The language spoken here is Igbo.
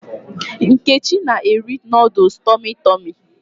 Nkechi na-eri nooduls Tọmị Tọmị